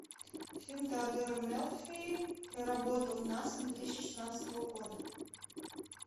фильм теодора мелфи про работу в наса две тысячи шестнадцатого года